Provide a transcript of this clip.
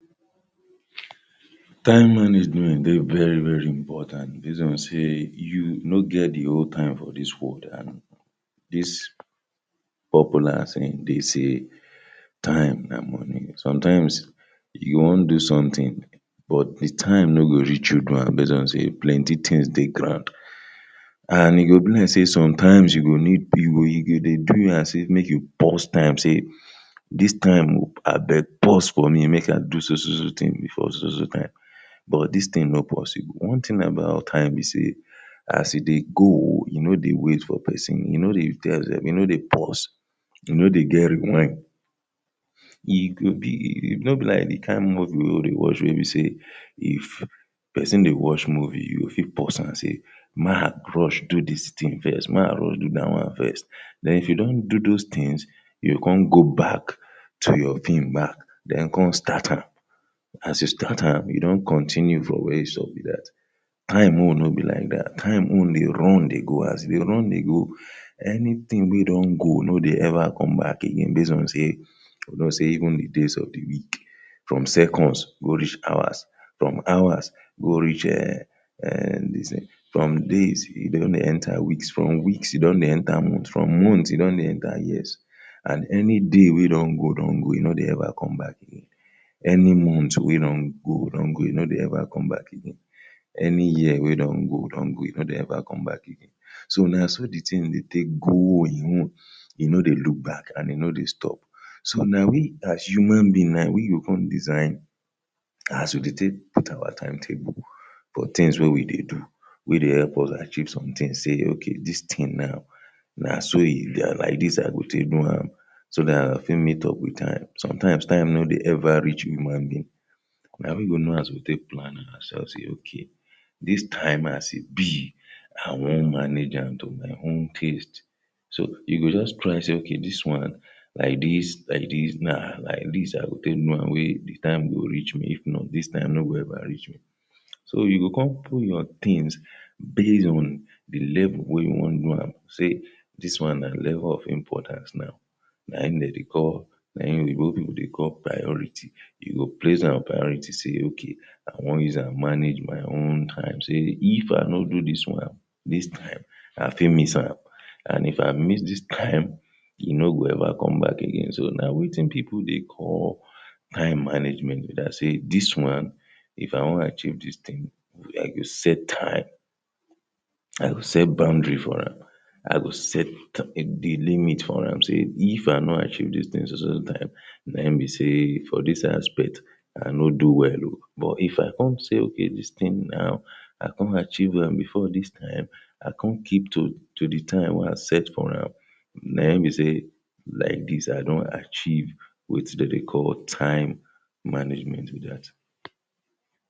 Time management dey very very important base on sey you no get dey whole time for dis world and dis popular saying dey say time na money, sometimes you go wan do something but dey time no go reach you do wan am base on sey plent things dey ground. And e go be like sey sometimes e go need pew wey you dey you as if make you pause time say, dis time abeg pause for me make i do so so so thing before so so so time but dis thing no posible. One thing about time be sey as e dey go, e no dey wait for pesin, e no tell you sef, e no dey pause, e no dey get rewhyn, e go be, no be like the kain movie wey we dey watch wey be sey if person dey watch movie, you go fit pause am sey may i rush do dis thing first, may i rush do that one first. then if don do those things, you go come go back to your film back, then come start am as you start am, you don continue from where you stop be dat. Time own no be like that, time own dey run dey go as e dey run the go, anything wey don go no dey ever come back again base on sey you know sey even dey days of dey week, from seconds go reach hours, from hours go reach um um dis thing from days e don dey enter weeks, from weeks e don dey enter month, from months e don dey enter years and anyday wey don go don go e no dey ever come back again. Any month wey don go don go, e no dey ever come back again, any year wey don go don go e no dey ever come back again. So na so dey thing dey take grow im own e no dey look back and e no dey stop. So na we as human being na we go come design as we dey take put our timetable for things wey we dey do we dey help us acheive some things say okay dis thing now na so e dey, na like dis i go take do am so that i fit meet up with time. Sometimes time no dey ever reach human being na we go know as we go take plan am ourselves say okay dis time as e be i wan manage to am to my own taste so you go just plan say okay dis one like dis, like dis na like dis i go take do am wey the time go reach me if not dis time no go ever reach me. So you go come put your things base on dey level you wan do am say dis one na level of importance now na im dem dey call, na im oyibo people dey call priority you go place am priority say okay i wan use am manage my own time sey if i no do dis one, dis time i fit miss am and if i miss dis time e no go ever come back again, so na wetin people dey call time management be that sey dis one if i wan achieve dis thing, i go set time i go set boundary for am, i go set the limit for am, so if i no achive dis thing so so so time na im be sey for dis aspect i no do well oo but if i come say okay dis thing now i come achieve am before dis time, i come keep to to the time wey i set for am na im be sey like dis i don achieve wetin dem dey call time management be dat.